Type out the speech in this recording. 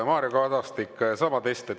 Mario Kadastik, sama test.